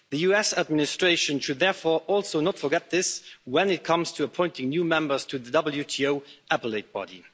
The US administration should, therefore, also not forget this when it comes to appointing new members to the WTO Appellate Body.